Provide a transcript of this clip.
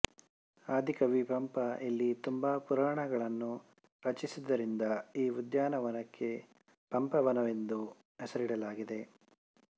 ಆದಿಕವಿ ಪಂಪ ಇಲ್ಲಿ ತುಂಬಾ ಪುರಾಣಗಳನ್ನು ರಚಿಸಿದ್ದರಿಂದ ಈ ಉದ್ಯಾನವನಕ್ಕೆ ಪಂಪವನವೆಂದು ಹೆಸರಿಡಲಾಗಿದೆ